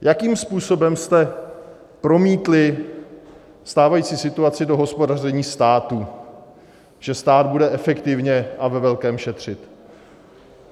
Jakým způsobem jste promítli stávající situaci do hospodaření státu, že stát bude efektivně a ve velkém šetřit.